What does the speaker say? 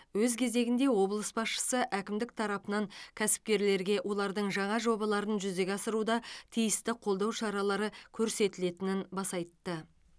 өз кезегінде облыс басшысы әкімдік тарапынан кәсіпкерлерге олардың жаңа жобаларын жүзеге асыруда тиісті қолдау шаралары көрсетілетінін баса айтты